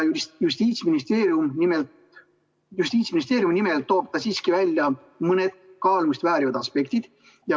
Justiitsministeeriumi nimel tõi ta siiski välja mõne kaalumist vääriva aspekti.